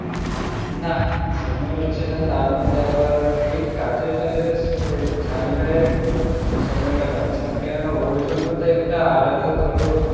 না সময় হচ্ছে না তার মধ্যে আবার এই কাজের টাজের স~ ঝামেলায় সময়টা পাচ্ছি না কেননা ওর জন্য তো একটা আলাদা ধরো